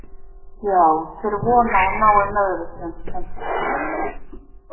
Já, þeir vona að hún nái meðvitund sem fyrst.